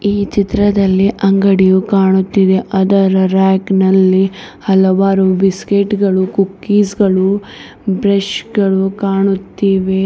ಈ ಚಿತ್ರದಲ್ಲಿ ಅಂಗಡಿಯು ಕಾಣುತ್ತಿದೆ ಅದರ ರ್ಯಾಕ್ ನಲ್ಲಿ ಹಲವಾರು ಬಿಸ್ಕೆಟ್ ಗಳು ಕುಕ್ಕೀಸ್ ಗಳು ಬ್ರಷ್ ಗಳು ಕಾಣುತ್ತಿವೆ.